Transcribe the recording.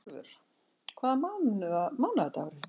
Brynjólfur, hvaða mánaðardagur er í dag?